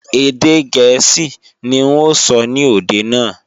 Èdè gẹ̀ẹ́sì ní n ó sọ ní òde náà